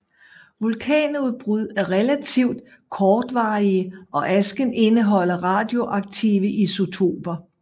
Vulkanudbrud er relativt kortvarige og asken indeholder radioaktive isotoper